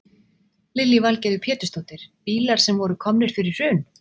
Lillý Valgerður Pétursdóttir: Bílar sem voru komnir fyrir hrun?